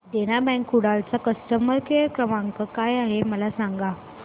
देना bank Kudal चा customer care क्रमांक काय आहे मला सांगा